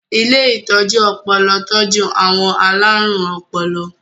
Ilé ìtọ́jú ọpọlọ tọ́jú àwọn alárùn ọpọlọ.